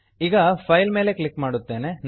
ಈಗ file file ಮೇಲೆ click ಮಾಡುತ್ತೇನೆ